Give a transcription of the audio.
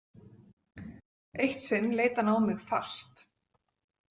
Eitt sinn leit hann á mig fast.